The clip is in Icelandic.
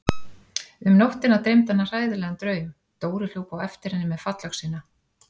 Um nóttina dreymdi hana hræðilegan draum: Dóri hljóp á eftir henni með fallöxina.